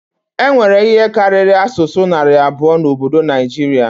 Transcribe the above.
E nwere ihe karịrị asụsụ narị abụọ n'obodo Naijiria